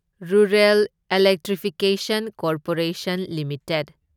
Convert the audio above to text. rural electrification corporation limited